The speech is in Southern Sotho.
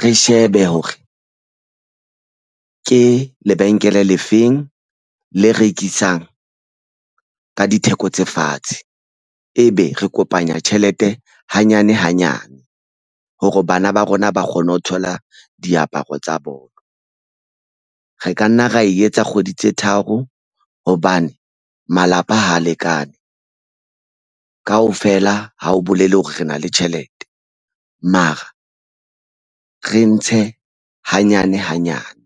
re shebe hore ke lebenkele le feng le rekisang ka ditheko tse fatshe. Ebe re kopanya tjhelete hanyane hanyane hore bana ba rona ba kgone ho thola diaparo tsa bolo re ka nna ra etsa kgwedi tse tharo hobane malapa ha lekane kaofela ha o bolele hore re na le tjhelete mara re ntshe hanyane hanyane.